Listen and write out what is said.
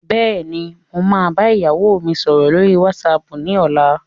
Bẹ́ẹ̀ni, mo máa bá ìyàwó mi sọ̀rọ̀ lórí whatsapp ni ọ̀la.